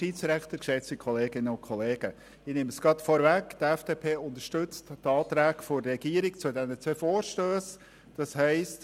Ich nehme es gerade vorweg, die FDP-Fraktion unterstützt die Anträge der Regierung zu diesen zwei Vorstössen.